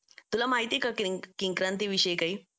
तुला माहिती आहे का किंक्रांत विषयी काही